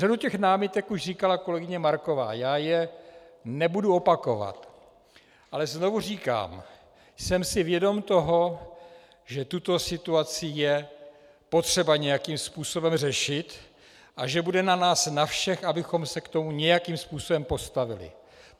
Řadu těch námitek už říkala kolegyně Marková, já je nebudu opakovat, ale znovu říkám - jsem si vědom toho, že tuto situaci je potřeba nějakým způsobem řešit a že bude na nás na všech, abychom se k tomu nějakým způsobem postavili.